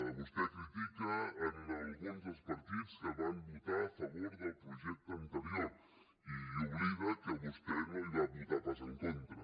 vostè critica alguns dels partits que van votar a favor del projecte anterior i oblida que vostè no hi va votar pas en contra